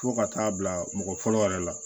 Fo ka taa bila mɔgɔ fɔlɔ yɛrɛ la